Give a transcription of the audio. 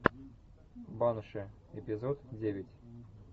банши эпизод девять